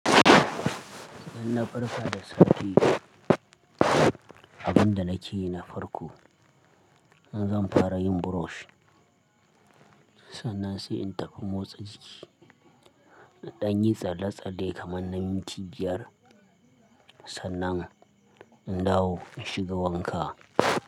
Idan na farka da safe, abin da nake yi na farko, in zan fara yin brush, sannan sai in tafi motsa jiki. Na dan yi tsalle-tsalle kaman minti biyar, sannan in dawo in shiga wanka.